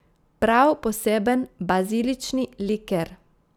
Prav poseben bazilični liker.